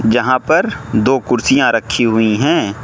यहां पर दो कुर्सियां रखी हुई हैं।